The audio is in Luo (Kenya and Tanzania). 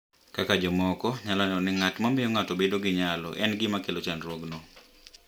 Kaka jomoko nyalo neno ni ng’at ma miyo ng’ato bedo gi nyalo en gima kelo chandruokno,